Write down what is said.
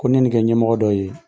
Ko n'i ye ni kɛ ɲɛmɔgɔ dɔ ye